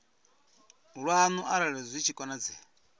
lwanu arali zwi tshi konadzea